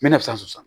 Me na san san